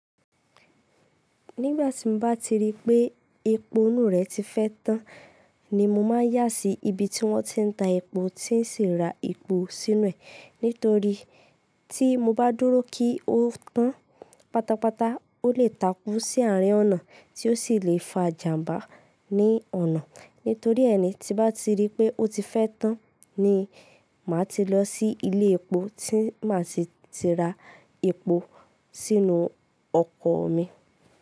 Nígbà tí n bá ti rí pé epo inú rẹ̀ ti fẹ́ tán ni mo máa n yá sí ibi tí wọ́n ti ń ta epo tí n ṣì ra epo sínú ẹ̀. Nítorí tí mo bá dúró kí ó tán pátápátá, ó lè takú sí àárín ọ̀nà tí ó sì lè fa ìjàmbá ní ọ̀nà. Nítorí ẹ ni tí n bá ti rí pé ó ti fẹ́ tán ni màá ti lọ sí ilé epo tí màá ti ra epo sínú ọkọ̀ mi.